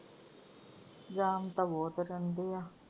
ਜਾਮ ਤਾਂ ਬਹੁਤ ਰਹਿੰਦੀ ਆ।